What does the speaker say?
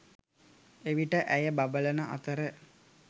එවිට ඇය බබළන අතර